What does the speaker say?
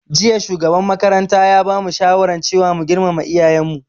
Jiya shugaban makaranta ya bamu shawaran cewa mu girmama iyayen mu